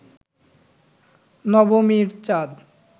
নবমীর চাঁদ